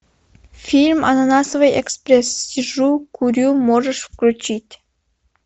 фильм ананасовый экспресс сижу курю можешь включить